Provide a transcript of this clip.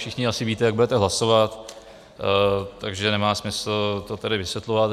Všichni asi víte, jak budete hlasovat, takže nemá smysl to tady vysvětlovat.